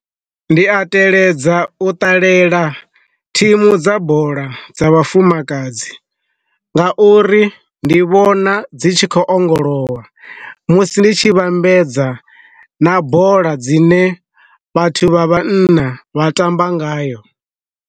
Ndi a teledza u ṱalela thimu dza bola dza vhafumakadzi, nga uri ndi vhona dzi tshi khou ongolowa musi ndi tshi vhambedza na bola dzine vhathu vha vhanna vha tamba ngayo.